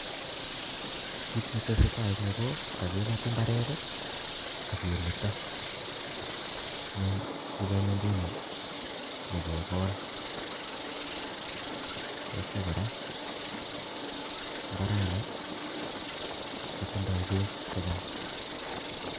Kiit nee tesetai eng Yu ko kakibat ibaret akee metoo nii inganyi Nguni nyi kekol ndaitya kora ibarani kotindoi beek che Chang